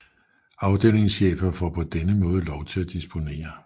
Afdelingschefer får på denne måde lov til at disponere